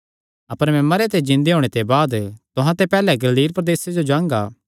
अपर मैं मरेयां ते जिन्दे होणे दे बाद तुहां ते पैहल्ले गलील प्रदेसे जो जांगा